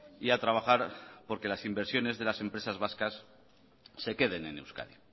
y a trabajar porque las inversiones de las empresas vascas se queden en euskadi